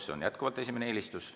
See on jätkuvalt esimene eelistus.